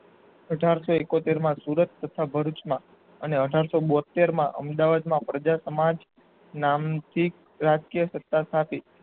અઠારશો એકોતેર માં સુરત તથા ભરૂચમાં અને અઢારસો બોતેર માં અમદાવાદમાં પ્રજા સમાજ નામથી રાજ્ય સાત સ્થાપી.